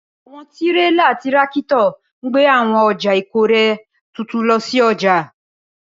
Awọn tirela tirakito n gbe awọn ọja ikore tuntun lọ si ọja.